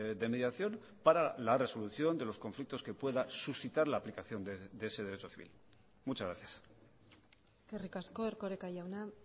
de mediación para la resolución de los conflictos que pueda suscitar la aplicación de ese derecho civil muchas gracias eskerrik asko erkoreka jauna